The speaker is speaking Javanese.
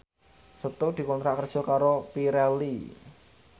Setu dikontrak kerja karo Pirelli